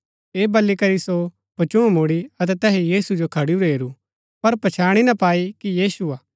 ऐह बली करी सो पचूँह मुड़ी अतै तैहै यीशु जो खडुरै हेरू पर पच्छैणी ना पाई की यीशु हा